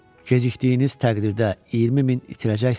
Gecikdiyiniz təqdirdə 20 min itirəcəksiz.